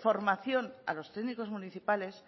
formación a los técnicos municipales